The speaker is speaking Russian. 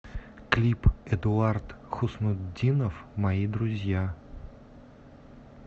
клип эдуард хуснутдинов мои друзья